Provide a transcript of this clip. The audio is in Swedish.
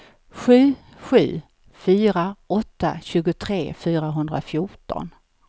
sju sju fyra åtta tjugotre fyrahundrafjorton